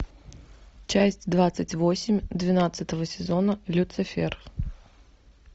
часть двадцать восемь двенадцатого сезона люцифер